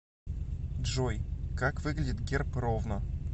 джой как выглядит герб ровно